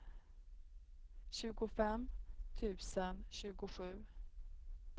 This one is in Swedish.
tjugofem tusen tjugosju